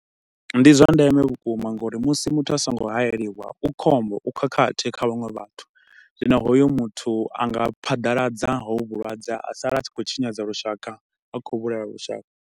Ndi zwa ndeme vhukuma nga uri musi muthu a so ngo hayeliwa, u khombo, u khakhathi kha vhaṅwe vhathu. Zwino hoyo muthu anga phadaladza hovho vhulwadze, a sala a tshi khou tshinyadza lushaka, a khou vhulaha lushaka.